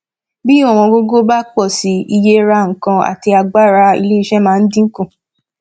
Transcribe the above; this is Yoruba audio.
bí ọwọn gogo bá pọ síi iye rà nkán àti agbára ilé iṣẹ máa dín kù